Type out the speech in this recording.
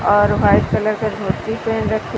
और white colour का धोती पहन रखी--